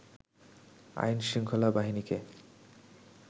আইনশৃঙ্খলা বাহিনীকে